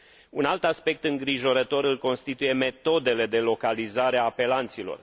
Un alt aspect îngrijorător îl constituie metodele de localizare a apelanților.